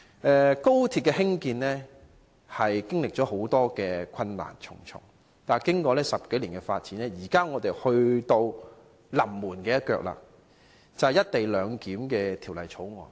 興建高鐵的過程，經歷重重困難，但經過10多年的發展，現在已到了"臨門一腳"，就是審議《廣深港高鐵條例草案》。